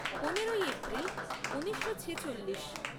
পনেরোই এপ্রিল ঊনিশো ছেচল্লিশ